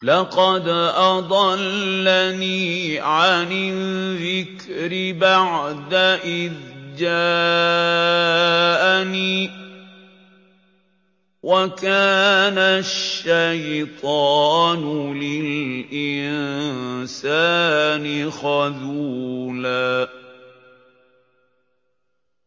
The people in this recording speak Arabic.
لَّقَدْ أَضَلَّنِي عَنِ الذِّكْرِ بَعْدَ إِذْ جَاءَنِي ۗ وَكَانَ الشَّيْطَانُ لِلْإِنسَانِ خَذُولًا